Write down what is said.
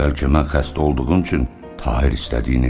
Bəlkə mən xəstə olduğum üçün Tahir istədiyini eləyir?